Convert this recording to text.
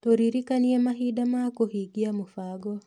Tũririkananie mahinda ma kũhingia mũbango.